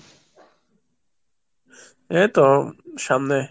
এই তো সামনে।